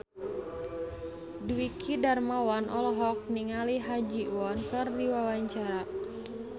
Dwiki Darmawan olohok ningali Ha Ji Won keur diwawancara